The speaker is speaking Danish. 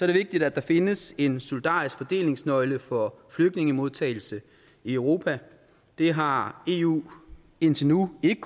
det vigtigt at der findes en solidarisk fordelingsnøgle for flygtningemodtagelse i europa det har eu indtil nu ikke